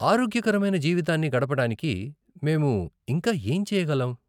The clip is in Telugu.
ఆరోగ్యకరమైన జీవితాన్ని గడపడానికి మేము ఇంకా ఏం చేయగలం?